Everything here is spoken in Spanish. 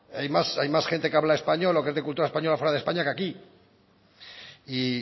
hay más gente que habla español o que es de cultura española fuera de españa que aquí y